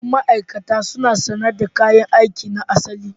Sabbin ma'aikata suna sanye da kayan aiki na asali